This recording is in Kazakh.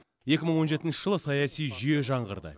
екі мың он жетінші жылы саяси жүйе жаңғырды